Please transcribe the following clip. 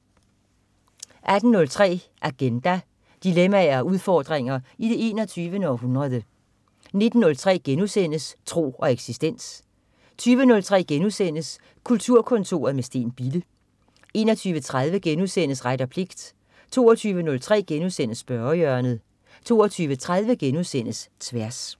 18.03 Agenda. Dilemmaer og udfordringer i det 21. århundrede 19.03 Tro og eksistens* 20.03 Kulturkontoret med Steen Bille* 21.30 Ret og pligt* 22.03 Spørgehjørnet* 22.30 Tværs*